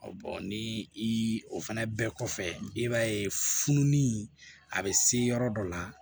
ni i fana bɛɛ kɔfɛ i b'a ye fununi a bɛ se yɔrɔ dɔ la